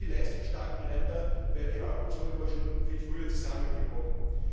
Ohne die leistungsstarken Länder wäre die Eurozone wohl schon viel früher zusammengebrochen.